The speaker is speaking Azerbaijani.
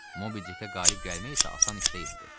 Mobidikə qalib gəlmək isə asan iş deyildi.